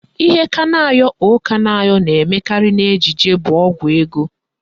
Ihe Kanayo O Kanayo na-emekarị n'ejije bụ Ọgwụ ego